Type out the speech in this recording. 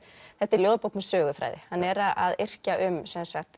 þetta er ljóðabók með söguþræði hann er að yrkja um sem sagt